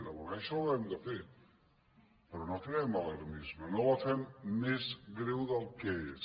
reconèixer·la ho hem de fer però no creem alarmisme no la fem més greu del que és